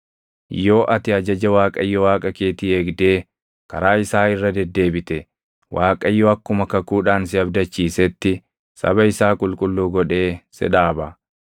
Yoo ati ajaja Waaqayyo Waaqa keetii eegdee karaa isaa irra deddeebite, Waaqayyo akkuma kakuudhaan si abdachiisetti saba isaa qulqulluu godhee si dhaaba.